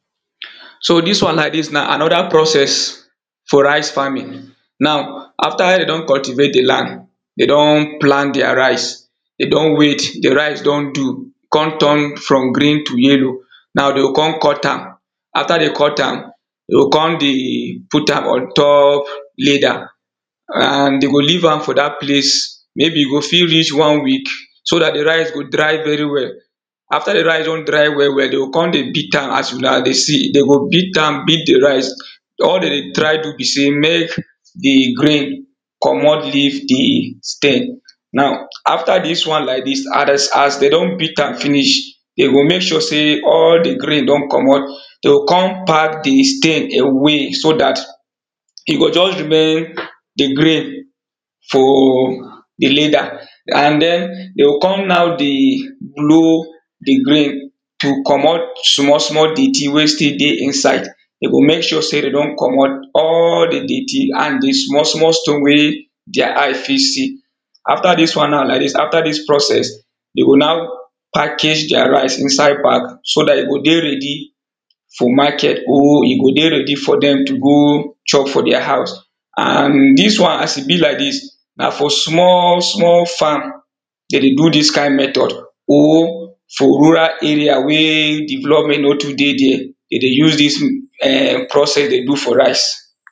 So dis one like dis na another process for rice farming Now after dem don cultivate di land, dey don plant their rice dey don wait, di rice don do come turn from green to yellow Now dey go come cut am. After dey cut am, dey go come dey put am on top leda and dey go leave for dat place, maybe e go fit reach one week, so dat di rice go dry very well After di rice don dry well well, dem go come dey beat am as una dey see. Dem go beat am beat di rice All dem dey try do be sey make di grain comot leave di stem Now after dis one like dis and as dem don beat am finish Dey go make sure sey all di grain don comot, dem go come pack di stem away so dat e go just remain di grain for di leda and then dem go come knack di blue di grain to comot small small dirty wey still dey inside Dem go make sure sey dem don comot all di dirty and di small small stone wey their eye fit see. After dis one now like dis, after dis process, dem go now package their rice inside bag so dat e go dey ready for market or e go dey ready for dem to go chop for their house and dis one as e be like dis na for small small farm dem dey do dis kind method or for rural area wey development no too dey there Dem dey use dis um process dey do for rice